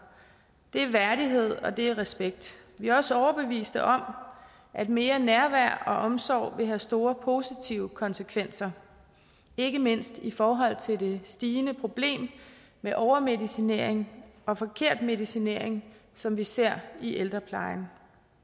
det er værdighed og det er respekt vi er også overbevist om at mere nærvær og omsorg vil have store positive konsekvenser ikke mindst i forhold til det stigende problem med overmedicinering og forkert medicinering som vi ser i ældreplejen